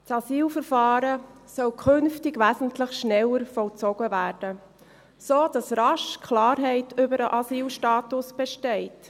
Das Asylverfahren soll künftig wesentlich schneller vollzogen werden, sodass rasch Klarheit über den Asylstatus besteht.